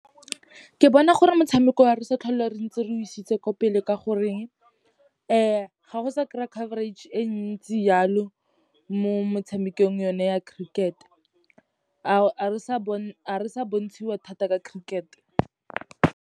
Ke bona gore motshameko o a re sa tlhole re ntse re o isitse kwa pele ka goreng, ga go sa kry-a coverage e ntsi yalo mo motshamekong o ne wa cricket, ha re sa bontshiwa thata ka cricket.